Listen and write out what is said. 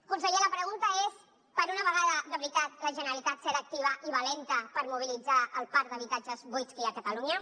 conseller la pregunta és per una vegada de veritat la generalitat serà activa i valenta per mobilitzar el parc d’habitatges buits que hi ha a catalunya